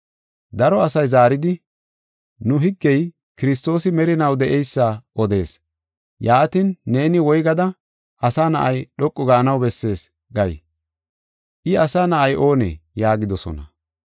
Daro asay zaaridi, “Nu higgey Kiristoosi merinaw de7eysa odees. Yaatin, neeni woygada, ‘Asa Na7ay dhoqu gaanaw bessees’ gay? ‘I, Asa Na7ay oonee?’ ” yaagidosona.